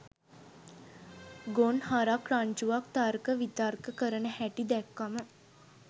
ගොන්හරක් රංචුවක් තර්ක විතර්ක කරන හැටි දැක්කම